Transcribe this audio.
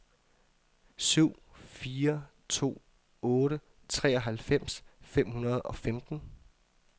syv fire to otte treoghalvfems fem hundrede og femten